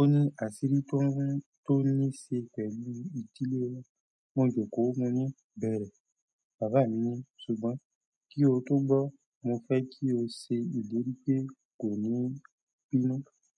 Ó ní àṣírí tó níse pẹ̀lú ìdílé wa. Mo jòkó. Mo ni bẹ̀rẹ̀. Bàbá mi ní: ṣùgbọ́n kí o tó gbọ́, mo fẹ́ kí o ṣe ìlérí pe kò ní bínú.